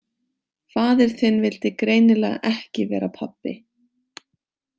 Faðir þinn vildi greinilega ekki vera pabbi.